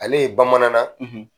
Ale ye bamanan na,